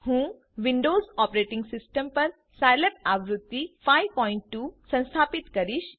હું Windows operating system પર Scilab આવૃત્તિ 52 સંસ્થાપિત કરીશ